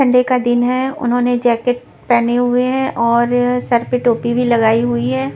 Sunday का दिन है उन्होंने जैकेट पहने हुए हैं और सर पे टोपी भी लगाई हुई है.